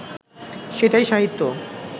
সেটাই সাহিত্য